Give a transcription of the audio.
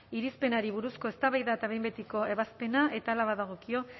irizpenari buruzko eztabaida eta behin betiko ebazpena eta hala badagokio